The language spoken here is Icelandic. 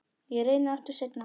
Ég reyni aftur seinna